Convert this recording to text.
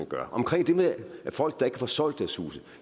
gør omkring det med folk der ikke kan få solgt deres huse